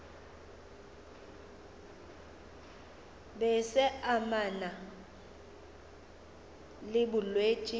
be se amana le bolwetši